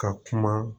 Ka kuma